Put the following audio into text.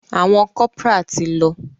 Àwọn corporal ti lọ.